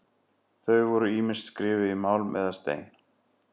Voru þau ýmist skrifuð í málm eða stein.